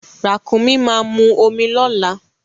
Ràkúnmi máa mu omi lọ́la.